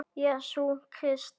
Jesú Krists.